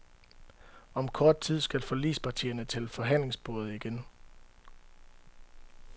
Om kort tid skal forligspartierne til forhandlingsbordet igen.